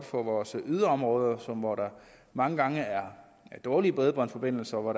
for vores yderområder hvor der mange gange er dårlige bredbåndsforbindelser og hvor